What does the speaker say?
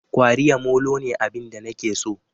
Kwariya molo ne abin da nake so